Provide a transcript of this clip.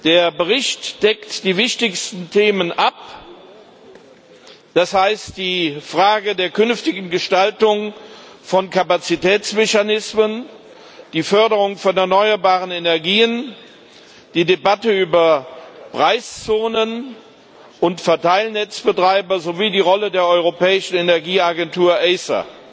Der Bericht deckt die wichtigsten Themen ab, das heißt, die Frage der künftigen Gestaltung von Kapazitätsmechanismen, die Förderung von erneuerbaren Energien, die Debatte über Preiszonen und Verteilnetzbetreiber sowie die Rolle der Europäischen Energieagentur ACER.